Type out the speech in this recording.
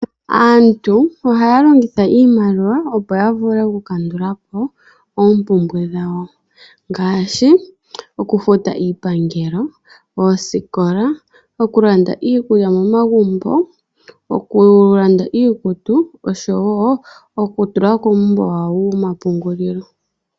Aantu ohaya longitha iimaliwa opo ya vule oku kandulapo oompumbwe dhawo. Ngaashi oku futa iipangelo, oosikola, oku landa iikulya momagumbo, oku landa iikutu oshowo oku tula kuumbo wawo womapungulilo.